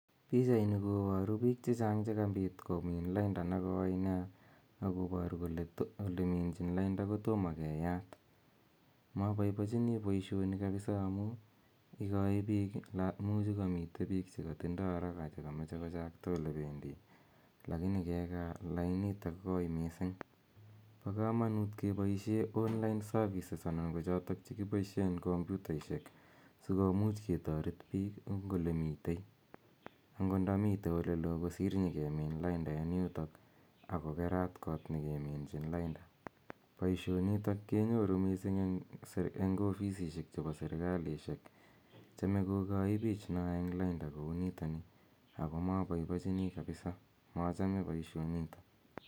PIchaini koboruu bik chechang chekabit komin lainda nekoi nia akoboruu kole oleminchi lainda kotomo keyat moboiboenchinii boishoni kabisa amun ikoe bik iimuch kokomiten bik chekotinyee haraka chekomoche kochakta ole pendii lakini kekaa laini ako koi missing bo komonut keboishen online services ana ko choton chekiboishen komputaishek sikomuch ketoret bik en ole miten ako indo miten ole loo kosir inyo kemin lainda en yutok ako keran kot ne keminchi lainda. Boishonito kenyoruu missing en offisisiek chebo serikalishek chome kokoe bik en lainda kou niton nii ako moboiboechinii kabisa mochome boishoniton.